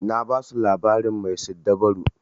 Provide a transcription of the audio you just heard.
Na basu labarin mai siddabaru.